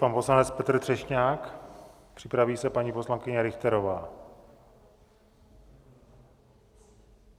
Pan poslanec Petr Třešňák, připraví se paní poslankyně Richterová.